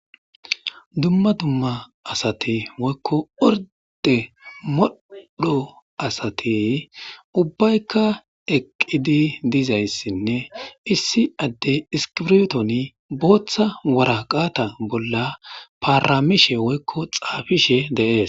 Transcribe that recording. dumma dumma asate woykko orde moddho asatey ubbayka eqidi dizayssinne issi adde iskibrotoni booththa wara qaata bolla paaramishe woykko xaafishe deees